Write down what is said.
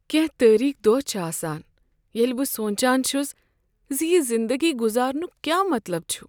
کٮ۪نٛہہ تاریک دۄہ چھ آسان ییٚلہ بہٕ سونٛچان چھس ز یہ زندگی گزارنک کیا مطلب چھ؟